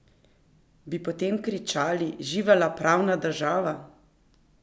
Bi potem kričali živela pravna država?